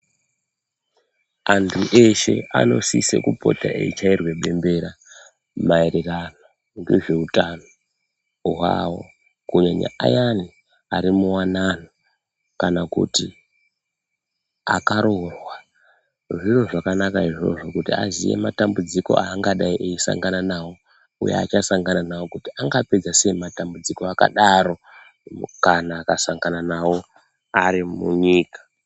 Antu eshe anosise kupota eichairwa bembera maererano ngezveutano hwavo. Kunyanya ayani ari muwanano kana kuti akaroorwa. Zviro zvakanaka izvozvo kuti aziye matambudziko aangadai eisangana nawo. Uye aachasangana nawo kuti angapedza sei matambudziko v akadaro kana akasangana nawo ari munyika.